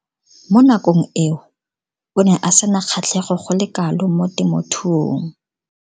Mo nakong eo o ne a sena kgatlhego go le kalo mo temothuong.